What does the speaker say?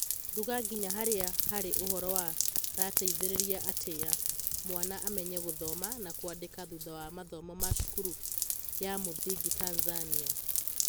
ruga nginya harĩa harĩ ũhoro wa rateithĩrĩria atĩa mwana amenye gũthoma na kwandĩka thutha wa mathomo ma cukuru ya mũthingi Tanzania?